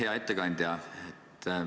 Hea ettekandja!